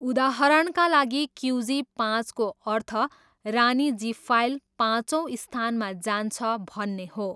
उदाहरणका लागि, क्युजी पाँचको अर्थ रानी जिफाइल, पाँचौँ स्थानमा जान्छ भन्ने हो।